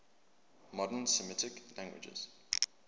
modern semitic languages